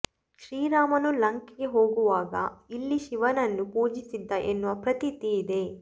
ಶ್ರೀರಾಮನು ಲಂಕೆಗೆ ಹೋಗುವಾಗ ಇಲ್ಲಿ ಶಿವನನ್ನು ಪೂಜಿಸಿದ್ದ ಎನ್ನುವ ಪ್ರತೀತಿ ಇದೆ